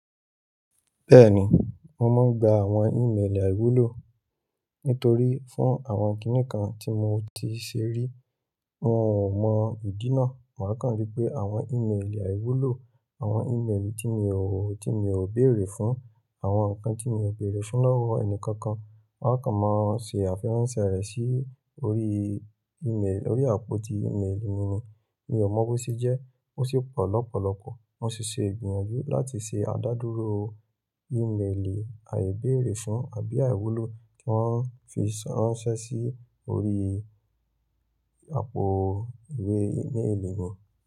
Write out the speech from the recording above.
Bẹ́ẹ̀ni, mo máa ń gba àwọn ìméèlì àìwúlò. Nítorí fún àwọn kiní kan tí mo ti ṣe rí, wọn ò mọ ìdí náà. Màá kàn rí pé àwọn ìméèlì àìwúlò, àwọn ìméèlì tí mi ò, tí mi ò béèrè fún, àwọn nǹkan tí mi ò béèrè fún lọ́wọ́ ẹnikẹ́kọ̀ọ́ kan, wọ́n á kàn máa ń ṣe àfi ránṣẹ́ rẹ̀ sí orí ìméèlì, orí àpò ti ìméèlì mi ni. Mi ò mọ bó ṣe jẹ́, ó sì pọ̀ lọ́pọ̀lọpọ̀. Mo sì ṣe ìgbìyànjú láti ṣe adadúró ìméèlì àìbéèrè fún àbí àìwúlò kí wọ́n fi ṣàránṣẹ́ sí orí àpò ìwé ìméèlì mi.